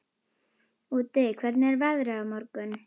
Úddi, hvernig er veðrið á morgun?